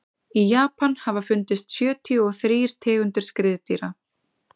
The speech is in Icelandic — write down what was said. í japan hafa fundist sjötíu og þrír tegundir skriðdýra